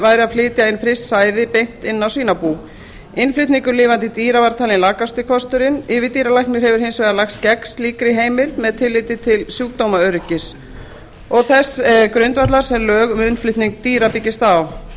væri að flytja inn fryst sæði beint inn á svínabú innflutningur lifandi dýra var talinn lakasti kosturinn yfirdýralæknir hefur hins vegar lagst gegn slíkri heimild með tilliti til sjúkdómaöryggis og þess grundvallar sem lög um innflutning dýra byggjast á